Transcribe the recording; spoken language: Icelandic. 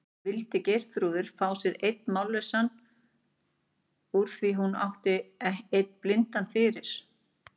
Vildi Geirþrúður fá sér einn mállausan úr því hún átti einn blindan fyrir?